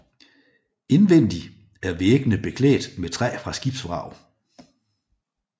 Indvendig er væggene beklædt med træ fra skibsvrag